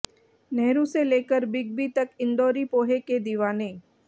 नेहरू से लेकर बिगबी तक इंदौरी पोहे के दीवाने